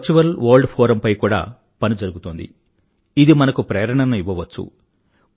virtual world Forumపై కూడా పని జరుగుతోంది ఇది మనకు ప్రేరణను ఇవ్వవచ్చు